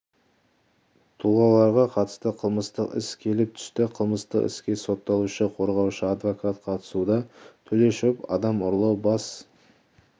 тұлғаларға қатысты қылмыстық іс келіп түсті қылмыстық іске сотталушы қорғаушы-адвокат қатысуда төлешов адам ұрлау бас